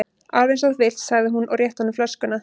Alveg eins og þú vilt sagði hún og rétti honum flöskuna.